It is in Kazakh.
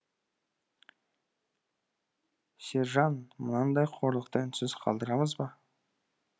сержан мынандай қорлықты үнсіз қалдырамызба